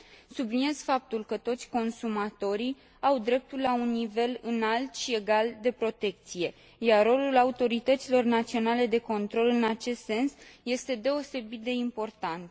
Subliniez faptul că toți consumatorii au dreptul la un nivel înalt și egal de protecție, iar rolul autorităților naționale de control în acest sens este deosebit de important.